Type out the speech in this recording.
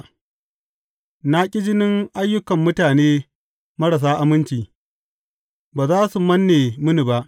Na ƙi jinin ayyukan mutane marasa aminci; ba za su manne mini ba.